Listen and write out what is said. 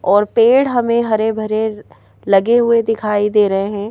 और पेड़ हमें हरे भरे लगे हुए दिखाई दे रहे हैं।